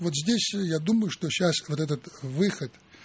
вот здесь я думаю что сейчас вот этот выход